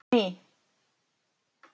Jenný